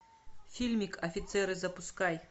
фильмик офицеры запускай